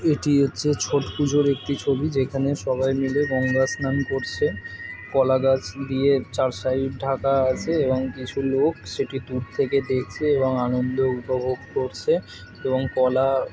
এটি হচ্ছে ছট পুজোর একটি ছবি। যেখানে সবাই মিলে গঙ্গাস্নান করছে। কলা গাছ দিয়ে চার সাইড ঢাকা আছে এবং কিছু লোক সেটি দূর থেকে দেখছে এবং আনন্দ উপভোগ করছে এবং কলা-আ --